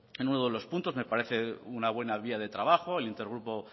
en uno de los puntos me parece una buena vía de trabajo el intergrupo